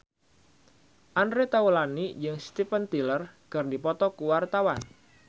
Andre Taulany jeung Steven Tyler keur dipoto ku wartawan